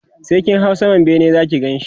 sai kin hau saman bene Zaki Ganshi